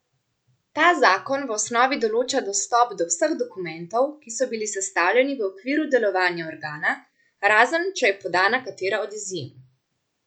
Ta zakon v osnovi določa dostop do vseh dokumentov, ki so bili sestavljeni v okviru delovanja organa, razen če je podana katera od izjem.